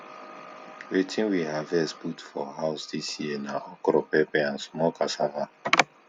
wetin we harvest put for house dis year na okro pepper and small cassava